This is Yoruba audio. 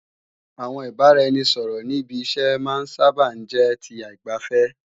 Àwọn ìbáraẹnisọ̀rọ̀ ní ibi iṣẹ́ máa sáábà ń jẹ́ ti aìgbàfẹ́